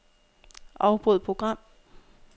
Afbryd program.